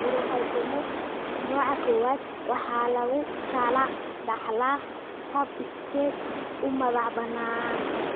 Neurofibromatosis nooca 1 (NF1) waxaa lagu kala dhaxlaa hab iskeed u madax-bannaan.